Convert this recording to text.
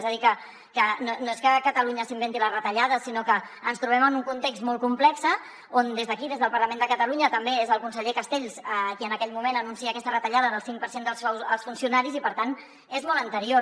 és a dir que no és que catalunya s’inventi les retallades sinó que ens trobem en un context molt complex on des d’aquí des del parlament de catalunya també és el conseller castells qui en aquell moment anuncia aquesta retallada del cinc per cent del sou als funcionaris i per tant és molt anterior